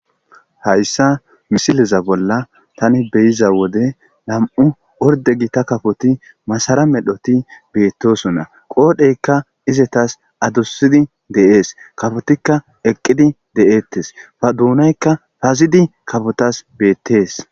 Hayssa misileza bolla tani be'iza wode nami'u ordde gita kafoti masara medhoti beettosona. Qoodheykka izetaas addusidi de'es. Kafitikka eqqidi de'etes. Ha duunaykka pazidi kafotas beettes.